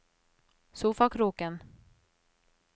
sofakroken